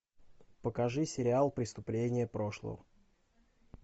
покажи сериал преступления прошлого